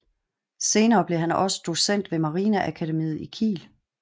Senere blev han også docent ved marineakademiet i Kiel